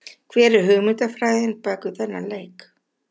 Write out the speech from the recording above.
Hver er hugmyndafræðin bakvið þennan leik?